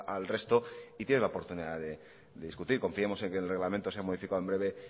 al resto y tienes la oportunidad de discutir confiemos en que el reglamento sea modificado en breve